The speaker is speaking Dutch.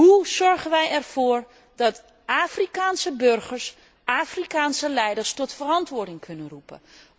Hoe zorgen wij ervoor dat Afrikaanse burgers Afrikaanse leiders tot verantwoording kunnen roepen?